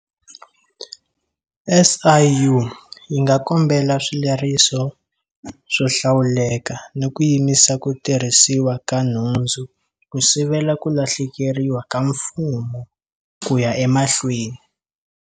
SIU yi nga kombela swileriso swo hlawuleka ni ku yimisa ku tirhisiwa ka nhundzu ku sivela ku lahlekeriwa ka Mfumo ku ya emahlweni.